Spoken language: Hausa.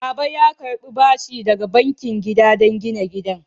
Baba ya karɓi bashi daga bankin gida don gina gidan.